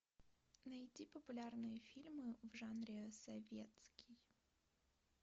найти популярные фильмы в жанре советский